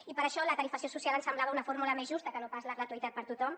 i per això la tarifació social ens semblava una fórmula més justa que no pas la gratuïtat per a tothom